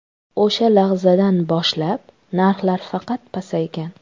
O‘sha lahzadan boshlab narxlar faqat pasaygan.